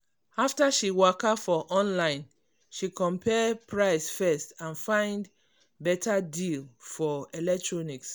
after she waka for online she compare price first and find better deal for electronics.